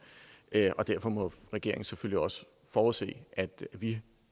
og derfor må regeringen selvfølgelig også forudse at vi